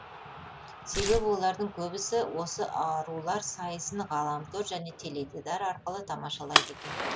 себебі олардың көбісі осы арулар сайысын ғаламтор және теледидар арқылы тамашалайды екен